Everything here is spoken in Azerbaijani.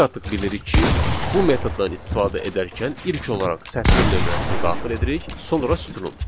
Biz artıq bilirik ki, bu metoddan istifadə edərkən ilk olaraq sətrin nömrəsini daxil edirik, sonra sütunun.